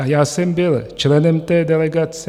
A já jsem byl členem té delegace.